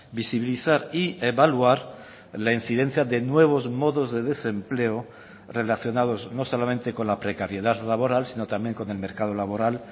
visibilizar y evaluar la incidencia de nuevos modos de desempleo relacionados no solamente con la precariedad laboral sino también con el mercado laboral